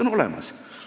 See oht on olemas.